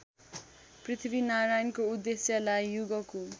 पृथ्वीनारायणको उद्देश्यलाई युगको